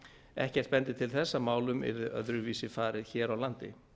ekkert bendir til þess að málum yrði öðruvísi farið hér á landi